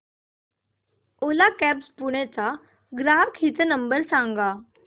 ओला cabs Pune चा ग्राहक हित क्रमांक नंबर सांगा